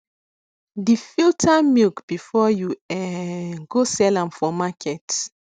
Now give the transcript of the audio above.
de filter milk before you um go sell sell am for market